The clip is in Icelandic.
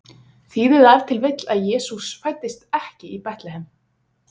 Þýðir það ef til vill að Jesús fæddist ekki í Betlehem?